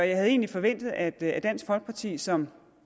jeg havde egentlig forventet at at dansk folkeparti som